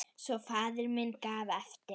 Svo faðir minn gaf eftir!